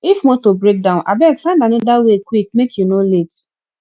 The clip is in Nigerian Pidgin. if motor break down abeg find another way quick make you no late